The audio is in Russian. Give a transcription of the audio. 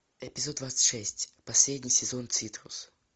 эпизод двадцать шесть последний сезон цитрус